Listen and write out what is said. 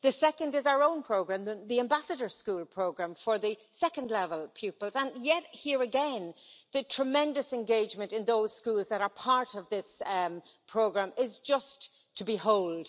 The second is our own programme the Ambassador School Programme for secondary level pupils, and here again, the tremendous engagement in those schools that are part of this programme is just to behold.